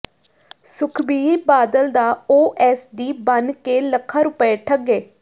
ਸੁਖਬੀਰ ਬਾਦਲ ਦਾ ਓਐਸਡੀ ਬਣ ਕੇ ਲੱਖਾਂ ਰੁਪਏ ਠੱਗੇ